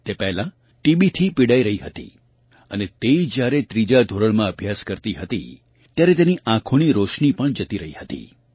તે પહેલાં ટીબી થી પીડાઇ રહી હતી અને તે જ્યારે ત્રીજા ધોરણમાં અભ્યાસ કરતી હતી ત્યારે તેની આંખોની રોશની પણ જતી રહી હતી